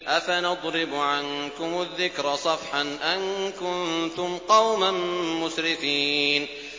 أَفَنَضْرِبُ عَنكُمُ الذِّكْرَ صَفْحًا أَن كُنتُمْ قَوْمًا مُّسْرِفِينَ